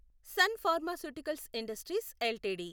sun pharmaceuticals industries LTD